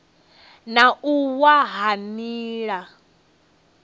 na u wa ha nila